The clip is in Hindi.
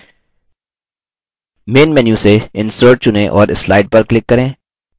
main menu से insert चुनें और slide पर click करें